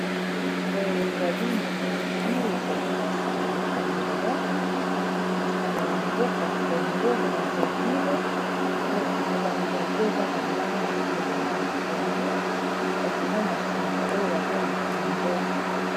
Boye ezali molangi ezali masanga ya komela masanga ya mboka congo brasaville molangi yango eza na langi ya ma ya pondu, kasi eza masanga oyo babengaka ngok